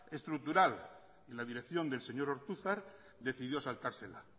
estructural y la dirección del señor ortuzar decidió saltársela